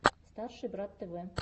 старший брат тв